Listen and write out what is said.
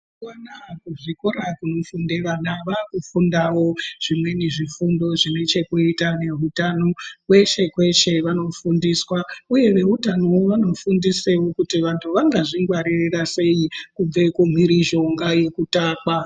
Kuzvikorayo kunofunde vana vakufundawo zvimweni zvifundo zvine chekuita neutano kweshe -kweshe vanofundiswa uye veutanowo vanofundisawo kuti vantu vangazvingwarira sei kubva kumhirizhonga yekutakwa.